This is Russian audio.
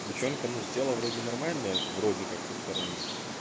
девчонка ну тело вроде нормальное вроде как со стороны